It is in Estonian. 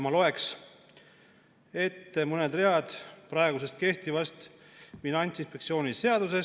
Ma loen ette mõned read praegu kehtivast Finantsinspektsiooni seadusest.